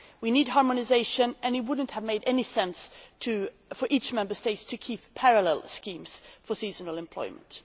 We need harmonisation, and it would not have made any sense for all the Member States to retain parallel schemes for seasonal employment.